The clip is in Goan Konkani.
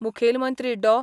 मुखेलमंत्री डॉ.